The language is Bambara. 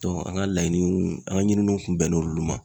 an ka laɲiniw an ka ɲininiw kun bɛnn'olu ma.